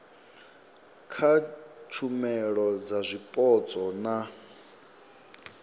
kha tshumelo dza zwipotso na